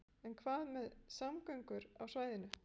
En hvað með samgöngur á svæðinu?